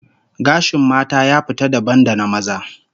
Gashin mata ya fita dabam da na maza